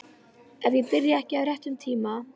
Ef ég byrja ekki á réttum tíma.